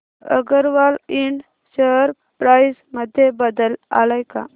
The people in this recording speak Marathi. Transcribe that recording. अगरवाल इंड शेअर प्राइस मध्ये बदल आलाय का